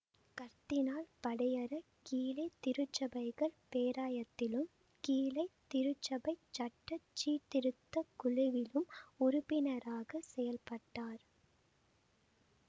கர்தினால் படியற கீழை திருச்சபைகள் பேராயத்திலும் கீழை திருச்சபைச் சட்ட சீர்திருத்த குழுவிலும் உறுப்பினராகச் செயல்பட்டார்